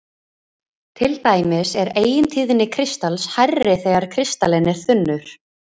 Til dæmis er eigintíðni kristals hærri þegar kristallinn er þunnur.